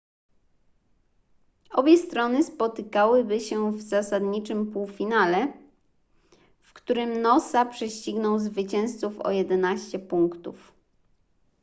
obie strony spotkałyby się w zasadniczym półfinale w którym noosa prześcignął zwycięzców o 11 punktów